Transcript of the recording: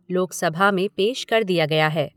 लोकसभा में पेश कर दिया गया है।